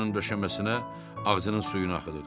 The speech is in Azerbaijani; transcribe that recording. Qaraşın döşəməsinə ağzının suyunu axıdırdı.